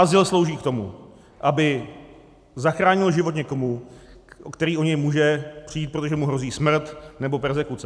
Azyl slouží k tomu, aby zachránil život někomu, který o něj může přijít, protože mu hrozí smrt nebo perzekuce.